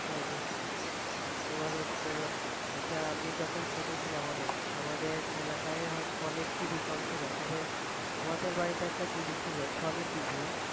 হ্যাঁ দেখছি তোমার হচ্ছে এটা আমি যখন ছোটো ছিলাম অনেক আমাদের এলাকায় হয় অনেক TV কম ছিল তবে আমাদের বাড়িতে একটা TV ছিল সনি TV